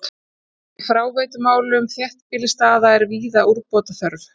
Í fráveitumálum þéttbýlisstaða er víða úrbóta þörf.